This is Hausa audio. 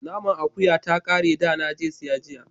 Naman akuya ta kare da na je siya jiya